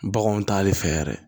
Baganw ta le fɛ yɛrɛ